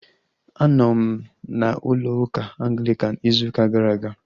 Anọ m na ụlọ ụka Anglikan ịzụ ụka gara aga